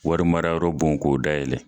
Wari mara yɔrɔ bon k'o dayɛlɛ.